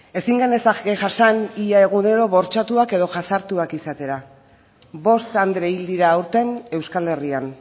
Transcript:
ezin genezake jasan ia egunero bortxatuak edo jasartuak izatea bost andre hil dira aurten euskal herrian